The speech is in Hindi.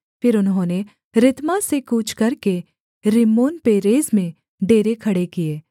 फिर उन्होंने रित्मा से कूच करके रिम्मोनपेरेस में डेरे खड़े किए